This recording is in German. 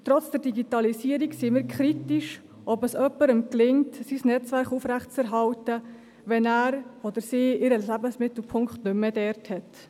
Trotz der Digitalisierung sind wir kritisch, ob es jemandem gelingt, sein Netzwerk aufrechtzuerhalten, wenn er oder sie den Lebensmittelpunkt nicht mehr an einem bestimmten Ort hat.